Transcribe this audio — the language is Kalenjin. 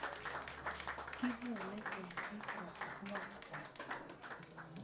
Kikoole ketik ko ang'wan kasi